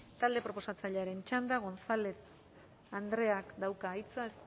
talde proposatzailearen txanda gonzález andreak dauka hitza